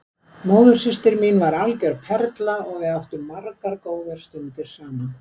Móðursystir mín var algjör perla og við áttum margar góðar stundir saman.